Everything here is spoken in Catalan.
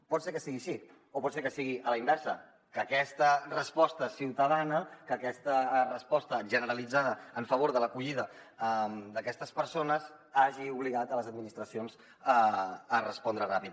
pot ser que sigui així o pot ser que sigui a la inversa que aquesta resposta ciutadana que aquesta resposta generalitzada en favor de l’acollida d’aquestes persones hagi obligat les administracions a respondre ràpid